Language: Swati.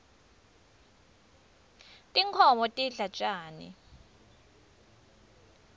tinkhoms tidla tjani